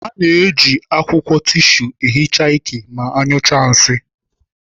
A na-eji akwụkwọ tisu ehicha ike ma anyụchaa nsị.